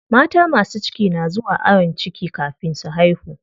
Mata masu ciki na zuwa ayon ciki kafin su haihu.